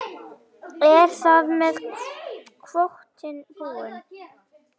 Er þar með kvótinn búinn?